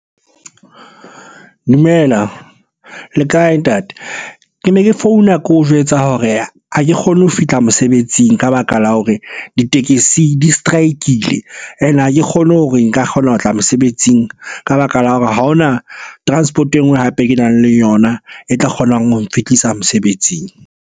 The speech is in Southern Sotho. Dumela, le kae ntate? Ke ne ke founa ke o jwetsa hore ha ke kgone ho fihla mosebetsing ka baka la hore ditekesi di-strike-ile. Ene ha ke kgone hore nka kgona ho tla mosebetsing ka baka la hore ha hona transport-e e nngwe hape ke nang le yona e tla kgonang ho mfitlisa mosebetsing.